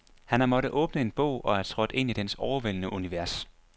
Han har måttet åbne en bog og er trådt ind i dens overvældende univers.